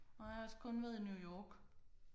Nej jeg har også kun været i New York